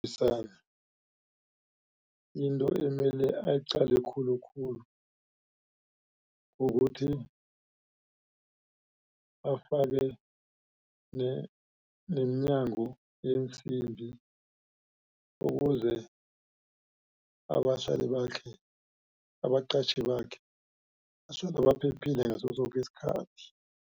into emele ayiqale khulukhulu kukuthi afake neminyango yeensimbi ukuze abahlali bakhe abaqatjhi bakhe basuka baphephile ngaso soke isikhathi.